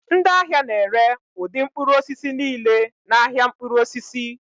Ndị ahịa na-ere ụdị mkpụrụ osisi niile n'ahịa mkpụrụ osisi